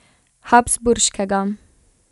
Habsburškega.